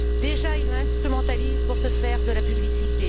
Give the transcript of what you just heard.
Déjà, il l'instrumentalise pour se faire de la publicité.